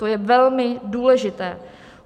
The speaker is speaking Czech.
To je velmi důležité.